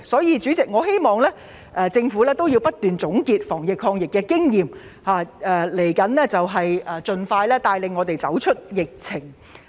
因此，我希望政府能夠不斷總結防疫抗疫經驗，盡快帶領市民走出疫情。